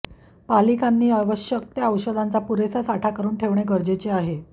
पालिकांनी आवश्यक त्या औषधांचा पुरेसा साठा करून ठेवणे गरजेचे आहे